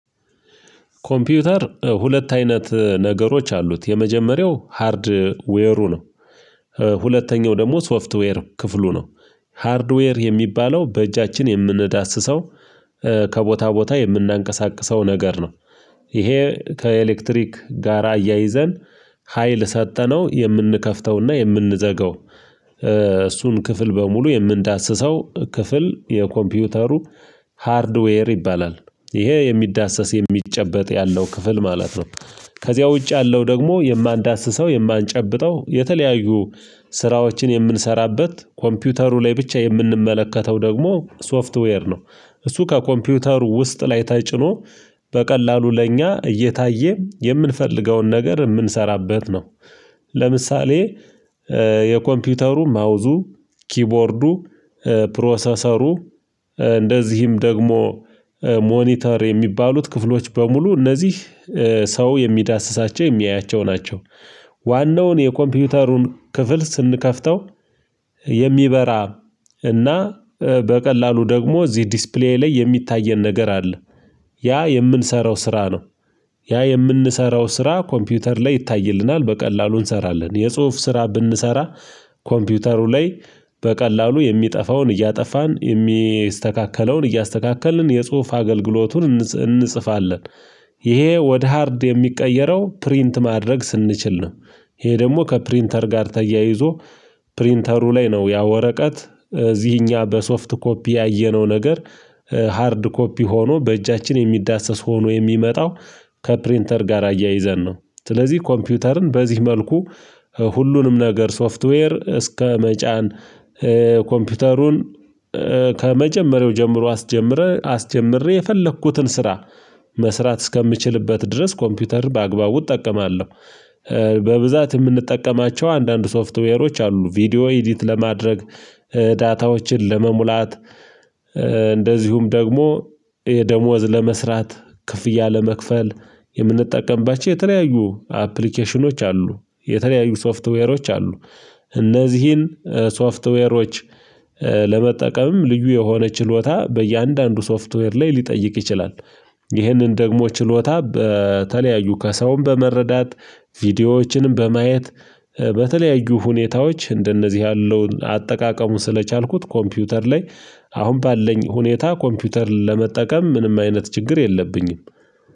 ኮምፒውተር ሁለት አይነት ነገሮች አሉት የመጀመሪያው ሃርድ ዌሩ ነው። ሁለተኛው ደግሞ ሶፍትዌር ክፍሉ ነው። ሃርድዌር የሚባለው በእጃችን የምንዳስሰው። ከቦታ ቦታ የምናንቀሳቅሰው ነገር ነው። ይሄ ከኤሌክትሪክ ጋራ አያይዘን ሀይል ሰጠነው የምንከፍተውና የምንዘገው እሱን ክፍል በሙሉ የምንዳስሰው ክፍል የኮምፒውተሩ ሃርድዌር ይባላል። ይሄ የሚዳሰስ የሚጨበጥ ያለው ክፍል ማለት ነው። ከዚያ ውጭ ያለው ደግሞ የማንዳስሰው የማንጨብጠው የተለያዩ ስራዎችን የምንሰራበት ኮምፒውተሩ ላይ ብቻ የምንመለከተው ደግሞ ሶፍትዌር ነው። እሱ ከኮምፒውተር ውስጥ ላይ ተጭኖ በቀላሉ ለእኛ እየታየ የምንፈልገውን ነገር የምንሰራበት ነው። ለምሳሌ የኮምፒውተሩ ማውዙ ኪቦርዱ ፕሮሰሰሩ እንደዚህም ደግሞ ሞኒተር የሚባሉት ክፍሎች በሙሉ እነዚህ ሰው የሚዳስሳቸው የሚያያቸው ናቸው። ዋናውን የኮምፒውተሩን ክፍል ስንከፍተው የሚበራ እና በቀላሉ ደግሞ እዚህ ዲስፕሌይ ላይ የሚታየን ነገር አለ። ያ የምንሰራው ስራ ነው። ያ የምንሰራው ስራ ኮምፒውተር ላይ ይታይልናል በቀላሉ እንሰራለን የጽሁፍ ስራ ብንሰራ ኮምፒውተሩ ላይ በቀላሉ የሚጠፋውን እያጠፋን የሚስተካከለውን እያስተካከልን የጽሁፍ አገልግሎቱን እንጽፋለን። ይሄ ወደ ሃርድ የሚቀየረው ፕሪንት ማድረግ ስንችል ነው። ይሄ ደግሞ ከፕሪንተር ጋር ተያይዞ ፕሪንተሩ ላይ ነው ያ ወረቀት እዚህኛ በሶፍት ኮፒ ያየነው ነገር። ሃርድ ኮፒ ሆኖ በእጃችን የሚዳሰስ ሆኖ የሚመጣው ከፕሪንተር ጋር አያይዘን ነው። ስለዚህ ኮምፒውተርን በዚህ መልኩ ሁሉንም ነገር ሶፍትዌር እስከ መጫን ኮምፒውተሩን ከመጀመሪያው ጀምሮ አስጀምረህ አስጀምርህ የፈለኩትን ስራ መስራት እስከምችልበት ድረስ ኮምፒውተር በአግባቡ እጠቀማለሁ። በብዛት የምንጠቀማቸው አንዳንድ ሶፍትዌሮች አሉ ቪዲዮ ኤዲት ለማድረግ ዳታዎችን ለመሙላት እንደዚሁም ደግሞ የደሞዝ ለመስራት ክፍያ ለመክፈል የምንጠቀምባቸው የተለያዩ አፕሊኬሽኖች አሉ። የተለያዩ ሶፍትዌሮች አሉ። እነዚህን ሶፍትዌሮች ለመጠቀምም ልዩ የሆነ ችሎታ በእያንዳንዱ ሶፍትዌር ላይ ሊጠይቅ ይችላል። ይህንን ደግሞ ችሎታ በተለያዩ ከሰውም በመረዳት ቪዲዮዎችንም በማየት በተለያዩ ሁኔታዎች እንደነዚህ ያለውን አጠቃቀሙን ስለቻልኩት ኮምፒውተር ላይ አሁን ባለኝ ሁኔታ ኮምፒውተር ለመጠቀም ምንም አይነት ችግር የለብኝም